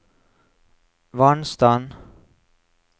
vannstand